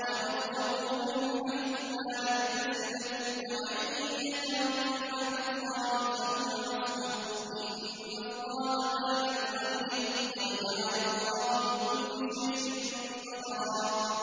وَيَرْزُقْهُ مِنْ حَيْثُ لَا يَحْتَسِبُ ۚ وَمَن يَتَوَكَّلْ عَلَى اللَّهِ فَهُوَ حَسْبُهُ ۚ إِنَّ اللَّهَ بَالِغُ أَمْرِهِ ۚ قَدْ جَعَلَ اللَّهُ لِكُلِّ شَيْءٍ قَدْرًا